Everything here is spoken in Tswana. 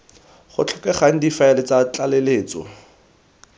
go tlhokegang difaele tsa tlaleletso